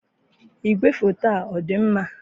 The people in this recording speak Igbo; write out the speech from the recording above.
igwefoto ọ dị mma?